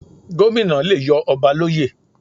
Gómìnà le yọ ọba l'óyè.